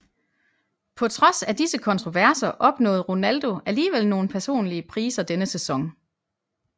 På trods af disse kontroverser opnåede Ronaldo alligevel nogle personlige priser denne sæson